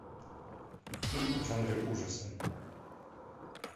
фильм в жанре ужаса